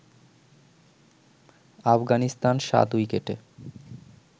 আফগানিস্তান ৭ উইকেটে